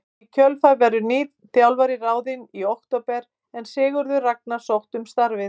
Í kjölfarið verður nýr þjálfari ráðinn í október en Sigurður Ragnar sótti um starfið.